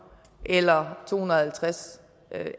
eller to hundrede og halvtreds